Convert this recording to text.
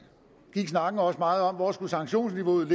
gik snakken også meget om hvor sanktionsniveauet